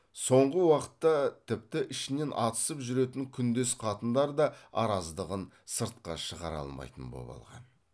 соңғы уақытта тіпті ішінен атысып жүретін күндес қатындар да араздығын сыртқа шығара алмайтын боп алған